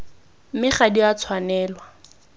mme ga di a tshwanelwa